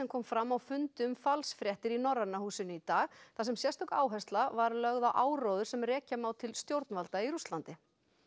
kom fram á fundi um falsfréttir í Norræna húsinu í dag þar sem sérstök áhersla var lögð á áróður sem rekja má til stjórnvalda í Rússlandi